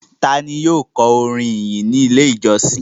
Ta ni yóò kọ orin ìyìn ní Ilé-ìjọsìn?